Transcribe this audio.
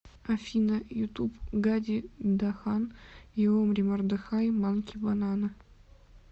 афина ютуб гади дахан и омри мордехай манки банана